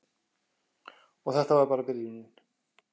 Og þetta var bara byrjunin.